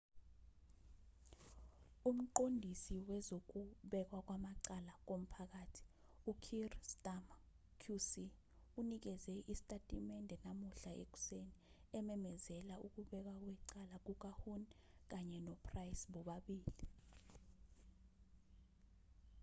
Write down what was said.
umqondisi wezokubekwa kwamacala komphakathi ukier starmer qc unikeze isitatimende namuhla ekuseni ememezela ukubekwa kwecala kukahuhne kanye nopryce bobabili